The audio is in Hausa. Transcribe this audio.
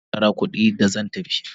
Na ba masu shara kudi da zan tafi.